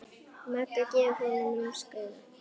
Magga gefur honum lúmskt auga.